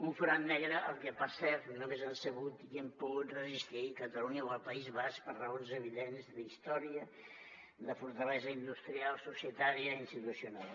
un forat negre al que per cert només han sabut i han pogut resistir catalunya o el país basc per raons evidents d’història de fortalesa industrial societària i institucional